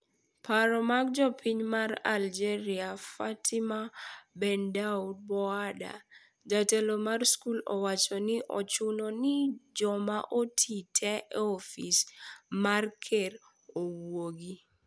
Paro mag jopiny ma Algeria. Fatima Bendaud-Boada jatelo mar skul owacho ni ochuno ni joma otii te e ofis mar ker owuog